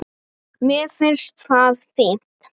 Mér finnst það fínt.